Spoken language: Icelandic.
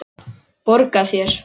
Borga þér?